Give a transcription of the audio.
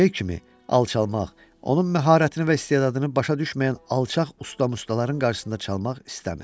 və B kimi alçalmaq, onun məharətini və istedadını başa düşməyən alçaq ustamustaların qarşısında çalmaq istəmir.